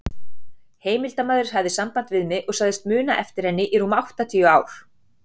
Heimildarmaður hafði samband við mig og sagðist muna eftir henni í rúm áttatíu ár.